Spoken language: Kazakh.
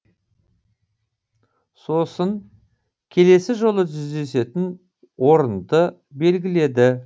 сосын келесі жолы жүздесетін орынды белгіледі